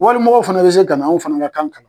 Walimɔgɔw fana bɛ se ka na anw fana ka kan ka